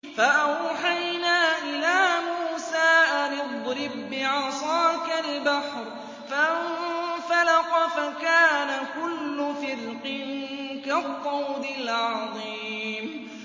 فَأَوْحَيْنَا إِلَىٰ مُوسَىٰ أَنِ اضْرِب بِّعَصَاكَ الْبَحْرَ ۖ فَانفَلَقَ فَكَانَ كُلُّ فِرْقٍ كَالطَّوْدِ الْعَظِيمِ